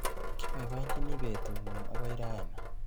Kebaibachini betung'ung akoi raa.